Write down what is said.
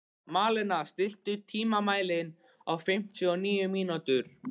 Malena, stilltu tímamælinn á fimmtíu og níu mínútur.